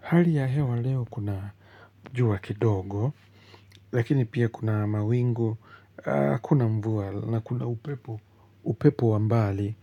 Hali ya hewa leo kuna jua kidogo, lakini pia kuna mawingu, kuna mvua na kuna upepo wa mbali.